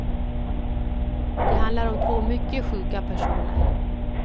Det handlar om två mycket sjuka personer.